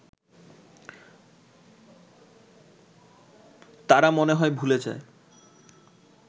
তারা মনে হয় ভুলে যায়